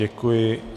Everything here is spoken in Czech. Děkuji.